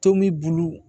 Tomi bulu